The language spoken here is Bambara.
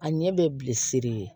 A ɲɛ bɛ bilisiri ye